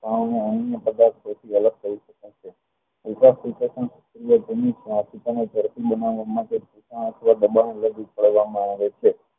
ઝડપી બનાવવા માટે દબાણ પડવામાં આવે છે